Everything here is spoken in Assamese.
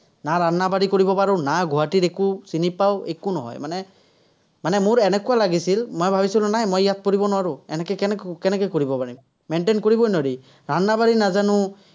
না কৰিব পাৰো, না গুৱাহাটীৰ একো চিনি পাওঁ, একো নহয়, মানে, মানে মোৰ এনেকুৱা লাগিছিল, মই ভাৱিছিলো নাই মই ইয়াত পঢ়িব নোৱাৰো, কেনেকে কৰিব পাৰিম। maintain কৰিবই নোৱাৰি, নাজানো।